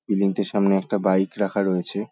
Building -টির সামনে একটা বাইক রাখা রয়েছে ।